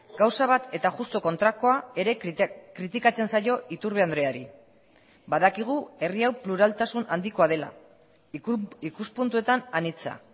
gauza bat eta justu kontrakoa ere kritikatzen zaio iturbe andreari badakigu herri hau pluraltasun handikoa dela ikuspuntuetan anitza